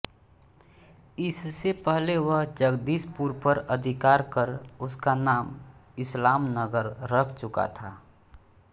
इससे पहले वह जगदीशपुर पर अधिकार कर उसका नाम इस्लामनगर रख चुका था